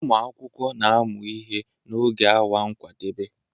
Ụmụ akwụkwọ na-amụ ihe n'oge awa nkwadebe